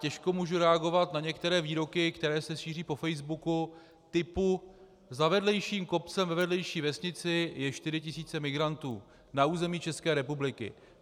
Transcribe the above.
Těžko můžu reagovat na některé výroky, které se šíří po facebooku, typu: Za vedlejším kopcem ve vedlejší vesnici jsou 4 000 migrantů, na území České republiky.